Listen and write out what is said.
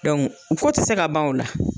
ko tɛ se ka ban o la.